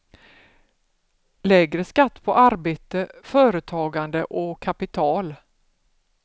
Lägre skatt på arbete, företagande och kapital.